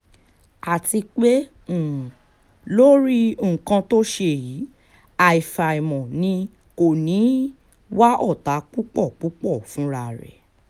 àti pé um lórí nǹkan tó ṣe yìí àfàìmọ̀ ni kò ní í um wá ọ̀tá púpọ̀ púpọ̀ fúnra ẹ̀